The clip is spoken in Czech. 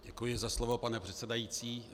Děkuji za slovo, pane předsedající.